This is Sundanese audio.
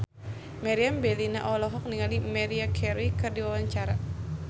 Meriam Bellina olohok ningali Maria Carey keur diwawancara